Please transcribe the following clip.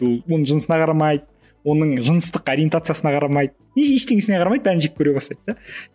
ол оның жынысын қарамайды оның жыныстық ориентациясына қарамайды ештеңесіне қарамайды бәрін жек көре бастайды да